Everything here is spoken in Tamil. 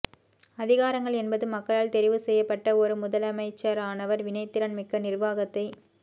அதிகாரங்கள் என்பது மக்களால் தெரிவுசெய்யப்பட்ட ஒரு முதலமைச்சரானவர் வினைத்திறன் மிக்க நிர்வாகத்தை